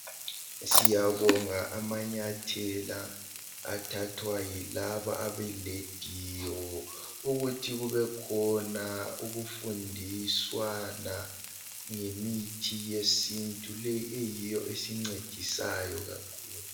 Siyabonga amanyathela athathwa yilaba abelediyo ukuthi kube khona ukufundiswa na ngemithi yesintu le eyiyo esincedisayo kakhulu